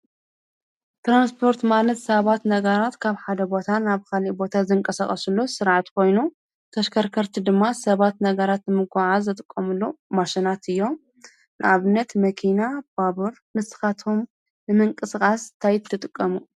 ትራንስፖርት ማለት ሰባት ነገራት ካብ ሓደ ቦታን ኣብ ኻልእ ቦታ ዘንቀሳቕሱሉ ስርዓት ኾይኑ ተሽከርከርቲ ድማ ሰባት ነገራት ምጉዕዓዝ ዝጥቀምሎም ማሽናት እዮም፡፡ ንኣብነት መኪና ፣ባቡር ንስኻቶም ንምንቅስቓስ ታይ ትጥቀሙ?